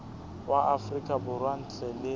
wa afrika borwa ntle le